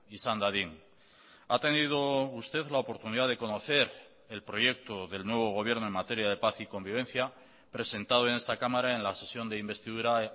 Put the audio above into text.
izan dadin ha tenido usted la oportunidad de conocer el proyecto del nuevo gobierno en materia de paz y convivencia presentado en esta cámara en la sesión de investidura